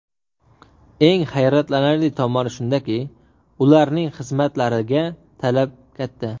Eng hayratlanarli tomoni shundaki, ularning xizmatlariga talab katta.